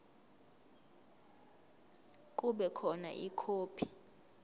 kube khona ikhophi